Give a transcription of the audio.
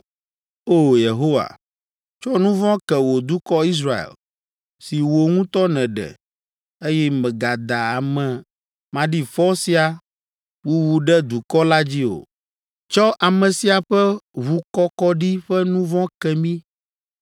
O! Yehowa, tsɔ nu vɔ̃ ke wò dukɔ Israel, si wò ŋutɔ nèɖe, eye mègada ame maɖifɔ sia wuwu ɖe dukɔ la dzi o. Tsɔ ame sia ƒe ʋukɔkɔɖi ƒe nu vɔ̃ ke mí.’